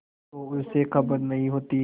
तो उसे खबर नहीं होती